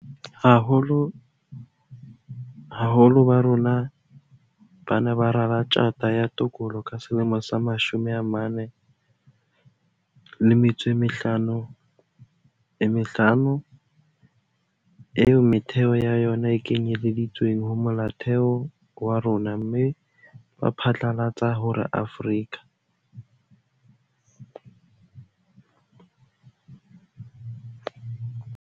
Ha baholo ba rona ba ne ba rala Tjhata ya Tokolo ka selemo sa 1955, eo metheo ya yona e kenyeleditsweng ho Molaotheo wa rona, mme ba phatlalatsa hore Afrika